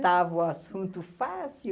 matava o assunto fácil.